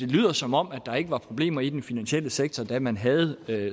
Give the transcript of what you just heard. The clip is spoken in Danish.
lyder som om der ikke var problemer i den finansielle sektor da man havde